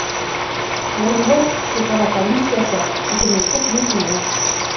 орынбор шекара комиссиясы үкіметтік мекеме